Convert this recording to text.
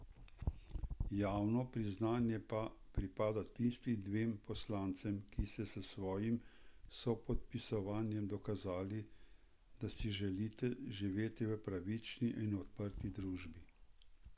Javno priznanje pa pripada tistim devetim poslancem, ki ste s svojim sopodpisovanjem dokazali, da si želite živeti v pravični in odprti družbi.